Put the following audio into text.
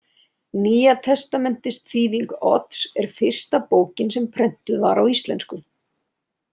Nýja testamentisþýðing Odds er fyrsta bókin sem prentuð var á íslensku.